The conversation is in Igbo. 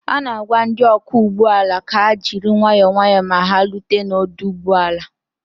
a na-agwa ndị ọkwọ ụgbọ ala ka ha jiri nwayọ nwayọ ma ha rute n'ọdụ ụgbọ ala